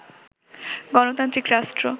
গণতান্ত্রিক রাষ্ট্র